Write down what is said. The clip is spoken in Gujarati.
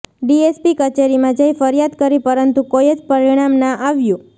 ડીએસપી કચેરીમાં જઇ ફરિયાદ કરી પરંતુ કોઇ જ પરિણામ ના આવ્યું